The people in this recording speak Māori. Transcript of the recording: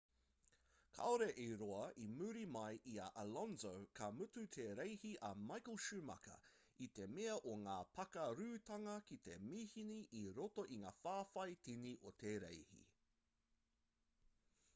kaore i roa i muri mai i a alonso ka mutu te reihi a michael schumacher i te mea o ngā pakarūtanga ki te mihini i roto i ngā whawhai tini o te reihi